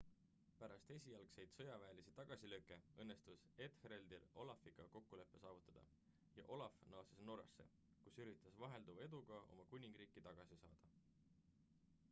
pärast esialgseid sõjaväelisi tagasilööke õnnestus ethelredil olafiga kokkulepe saavutada ja olaf naases norrasse kus üritas vahelduva eduga oma kuningriiki tagasi saada